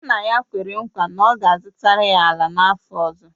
Nna ya kwere nkwa na ọ ga-azụtara ya ala n’afọ ọzọ